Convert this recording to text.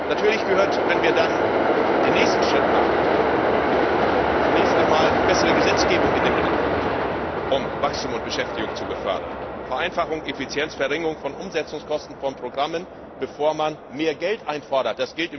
Natürlich gehört, wenn wir dann den nächsten Schritt machen, zunächst einmal bessere Gesetzgebung in den Mittelpunkt, um Wachstum und Beschäftigung zu befördern, Vereinfachung, Effizienz, Verringerung von Umsetzungskosten von Programmen, bevor man mehr Geld einfordert.